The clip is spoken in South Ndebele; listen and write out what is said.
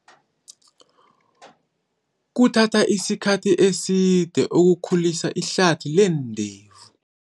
Kuthatha isikhathi eside ukukhulisa ihlathi leendevu.